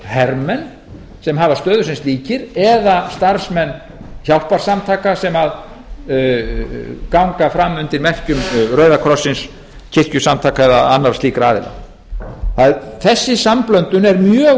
hermenn sem hafa stöðu sem slíkir eða starfsmenn hjálparsamtaka sem ganga fram undir merkjum rauðakrossins kirkjusamtaka eða annarra slíkra aðila þessi samblöndun er mjög